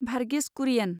Varghese Kurien